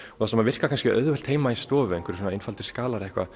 það sem virkar kannski einfalt heima í stofu einhverjir svona einfaldir skalar eða eitthvað